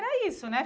Era isso, né?